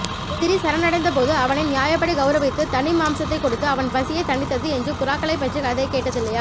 எதிரி சரணடைந்தபோது அவனை நியாயப்படி கௌரவித்துத் தனி மாம்சத்தைக் கொடுத்து அவன் பசியைத் தணித்தது என்று புறாக்களைப்பற்றிய கதையைக் கேட்டதில்லையா